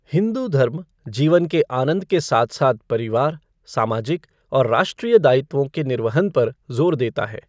हिंदू धर्म जीवन के आनंद के साथ साथ परिवार, सामाजिक और राष्ट्रीय दायित्वों के निर्वहन पर जोर देता है।